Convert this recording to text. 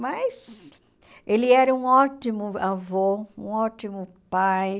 Mas ele era um ótimo avô, um ótimo pai.